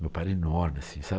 Meu pai era enorme assim, sabe?